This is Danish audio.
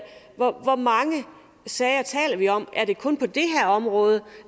hvor mange sager vi taler om er det kun på det her område